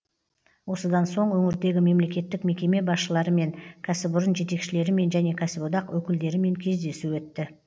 осыдан соң өңірдегі мемлекеттік мекеме басшыларымен кәсіпорын жетекшілерімен және кәсіподақ өкілдерімен кездесу өтті